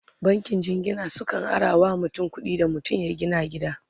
bankin jingina sukan arawa mutum kuɗi Dan mutum ya gina gida